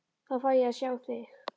Þá fæ ég að sjá þig.